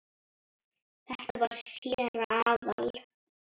Þetta var séra Aðal